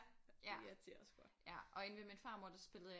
Ja ja og inde ved min farmor der spille jeg